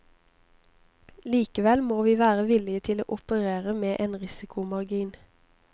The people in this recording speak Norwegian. Likevel må vi være villige til å operere med en risikomargin.